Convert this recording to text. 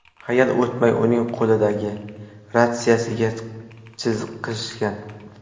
Hayal o‘tmay, uning qo‘lidagi ratsiyasiga chiqishgan.